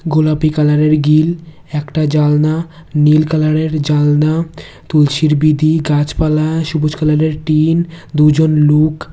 গোলাপি কালারের গিল একটা জানলা নীল কালারের জানলা তুলসীর বিদি গাছপালা সবুজ কালারের টিন দুইজন লুক।